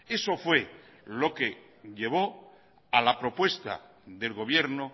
eso fue lo que llevó a la propuesta del gobierno